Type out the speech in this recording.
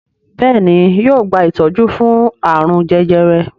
Béèni yóò gba itọju fún arun jẹjẹrẹ.